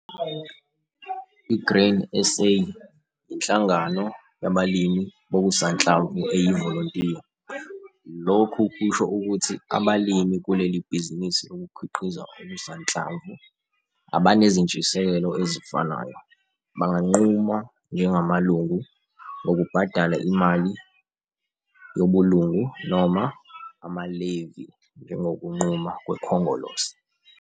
I-Grain SA yinhlangano yabalimi bokusanhlamvu eyivolontiya. Lokhu kusho ukuthi abalimi kuleli bhizinisi lokukhiqiza okusanhlamvu abanezintshisekelo ezifanayo, banganquma njengamalungu ngokubhadala imali yobulungu - noma ama-levy njengokunquma kweKhongolose.